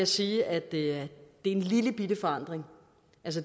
sige at det er en lillebitte forandring